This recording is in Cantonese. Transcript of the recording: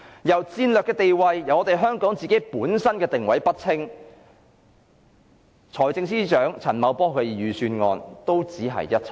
若香港的戰略定位不清，財政司司長陳茂波的預算案也只屬空談。